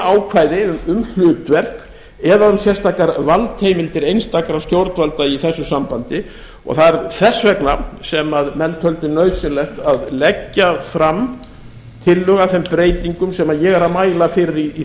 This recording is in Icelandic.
ákvæði um hlutverk eða um sérstakar valdheimildir einstakra stjórnvalda í þessu sambandi og það er þess vegna sem menn töldu nauðsynlegt að leggja fram tillögu að þeim breytingum sem ég er að mæla fyrir í